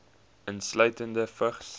insluitende vigs